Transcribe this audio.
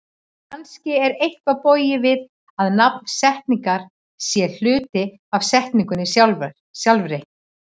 Kannski er eitthvað bogið við að nafn setningar sé hluti af setningunni sjálfri?